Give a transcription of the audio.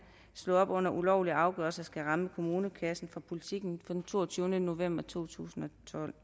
slå op under ulovlige afgørelser skal ramme kommunekassen fra politiken fra den toogtyvende november totusinde